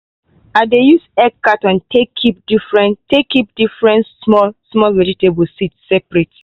i dey use egg carton take keep different take keep different small-small vegetable seeds separate.